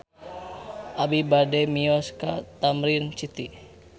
Abi bade mios ka Tamrin City